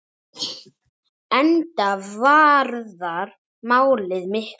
Enda varðar málið miklu.